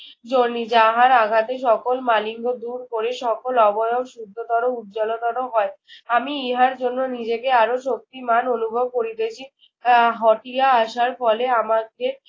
Johnny যাহার আঘাতে মালিঙ্গ দূর করে সকল অবয়ব শুদ্ধতর উজ্জ্বলতর হয়। আমি ইহার জন্য নিজেকে আরো শক্তিমান অনুভব করিতেছি। আহ হটিয়া আসার ফলে আমাকে